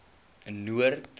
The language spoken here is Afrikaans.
noord